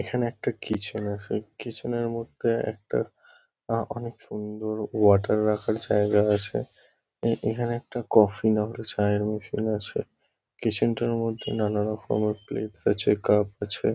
এখানে একটা কিচেন আছে। কিচেন -এর মধ্যে একটা আ অনেক সুন্দর ওয়াটার রাখার জায়গা আছে। এ এখানে একটা কফি না নাহলে চায়ের মেশিন আছে। কিচেন -টার মধ্যে নানারকমের প্লেটস আছে কাপ আছে।